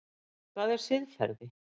Hvað er siðferði?